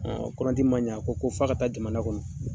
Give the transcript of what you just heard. kɔlɔnti man ɲa a ko ko fɔ a ka taa jamana kɔnɔ.